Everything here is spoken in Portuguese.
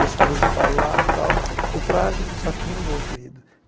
Deixava ele falar tal, o traje, só que eu não vou, querido.